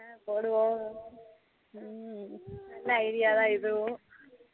வேணா போடுவோம் ஹம் நல்லா idea தான் இதுவும்